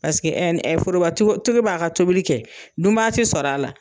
Paseke ɛ ni ɛ foroba tigi b'a ka tobili kɛ dunbaa ti sɔrɔ a la